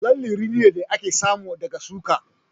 Lalle rini ne da ake samu daga shuka